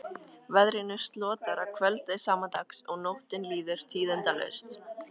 Veðrinu slotar að kvöldi sama dags og nóttin líður tíðindalaust.